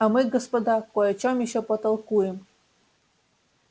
а мы господа кой о чем ещё потолкуем